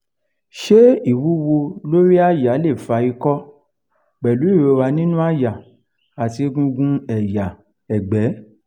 se ìwúwo lórí àyà le fa ikọ pelu ìrora nínú àyà àti egungun ẹ̀yà egbe?